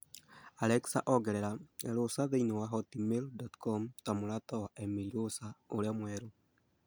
Alexa ongerera erosser thĩinĩ wa hotmail dot com ta mũrata wa Emily Rosser ũrĩa mwerũ